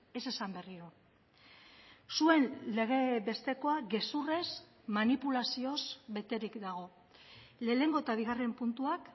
ez esan berriro zuen lege bestekoa gezurrez manipulazioz beterik dago lehenengo eta bigarren puntuak